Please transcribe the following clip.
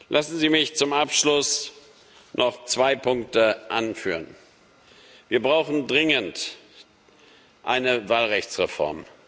Lassen Sie mich zum Abschluss noch zwei Punkte anführen Wir brauchen dringend eine Wahlrechtsreform.